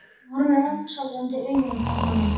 Af hverju get ég aldrei gert neitt rétt í lífinu?